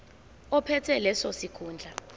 ophethe leso sikhundla